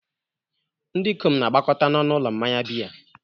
Ndị ikom na-agbakọta n'ọnụ ụlọ mmanya biya.